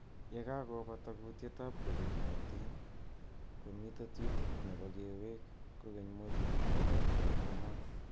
Ye kokobata kutiet ab covid 19 ,komii tetutiet nebo kewek kokeny modulit nebo e-commerce.